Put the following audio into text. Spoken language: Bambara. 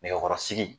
Nɛgɛkɔrɔsigi